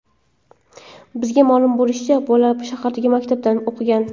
Bizga ma’lum bo‘lishicha, bola shahardagi maktabda o‘qigan.